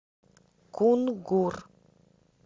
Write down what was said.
кунгур